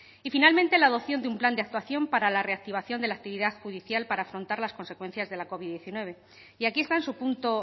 y finalmente la adopción de un plan de actuación para la reactivación de la actividad judicial para afrontar las consecuencias de la covid diecinueve y aquí está en su punto